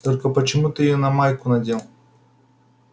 только почему ты её на майку надел